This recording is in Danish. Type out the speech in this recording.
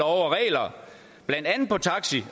og regler blandt andet på taxi